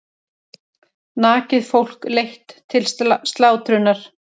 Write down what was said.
Nakið fólk leitt til slátrunar.